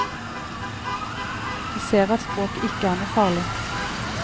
De ser at språket ikke er noe farlig.